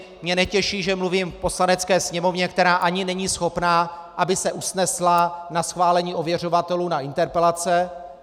Mě netěší, že mluvím k Poslanecké sněmovně, která ani není schopna, aby se usnesla na schválení ověřovatelů na interpelace.